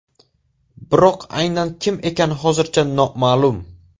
Biroq aynan kim ekani hozircha noma’lum.